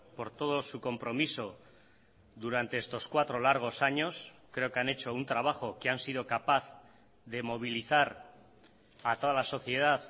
por todo su compromiso durante estos cuatro largos años creo que han hecho un trabajo que han sido capaz de movilizar a toda la sociedad